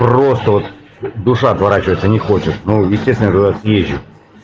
просто вот душа отворачивается не хочет ну естественно я туда съезжу